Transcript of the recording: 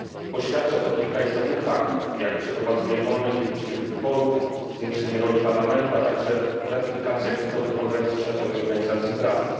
Poświadcza to kilka istotnych faktów, jak przeprowadzenie wolnych i uczciwych wyborów, zwiększenie roli parlamentu, a także ratyfikacja kluczowych konwencji światowej organizacji pracy.